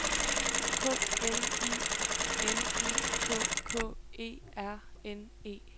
K L I N I K K E R N E